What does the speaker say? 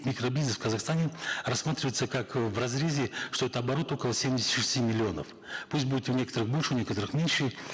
микро бизнес в казахстане рассматривается как э в разрезе что это оборот около семидесяти шести миллионов пусть будет у некоторых больше у некоторых меньше